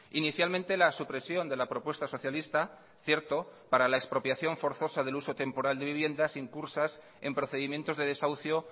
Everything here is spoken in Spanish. inicialmente la supresión de la propuesta socialista cierto para la expropiación forzosa del uso temporal de viviendas incursas en procedimientos de desahucio